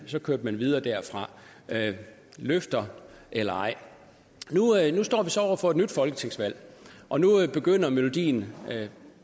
så kørte man videre derfra løfter eller ej nu står vi så over for et nyt folketingsvalg og nu begynder melodien